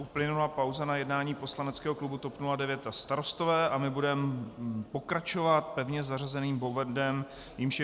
Uplynula pauza na jednání poslaneckého klubu TOP 09 a Starostové a my budeme pokračovat pevně zařazeným bodem, jímž je